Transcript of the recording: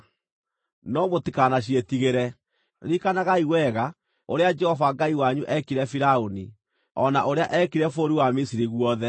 No mũtikanaciĩtigĩre; ririkanagai wega ũrĩa Jehova Ngai wanyu eekire Firaũni, o na ũrĩa eekire bũrũri wa Misiri guothe.